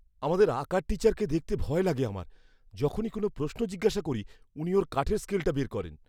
আমাদের আঁকার টিচারকে দেখতে ভয় লাগে আমার। যখনই কোন প্রশ্ন জিজ্ঞাসা করি, উনি ওঁর কাঠের স্কেলটা বের করেন।